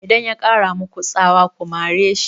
Idan ya ƙara maku tsawa ku mare shi!